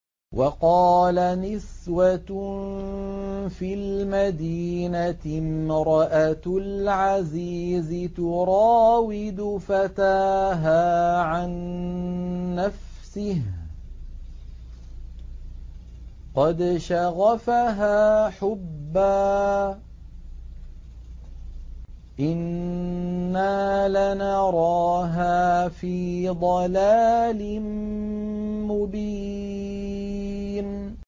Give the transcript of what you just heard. ۞ وَقَالَ نِسْوَةٌ فِي الْمَدِينَةِ امْرَأَتُ الْعَزِيزِ تُرَاوِدُ فَتَاهَا عَن نَّفْسِهِ ۖ قَدْ شَغَفَهَا حُبًّا ۖ إِنَّا لَنَرَاهَا فِي ضَلَالٍ مُّبِينٍ